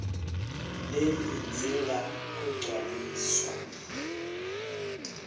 leli lidzinga kugcwaliswa